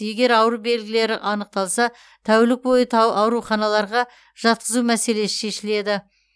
егер ауру белгілері анықталса тәулік бойғы та ауруханаларға жатқызу мәселесі шешіледі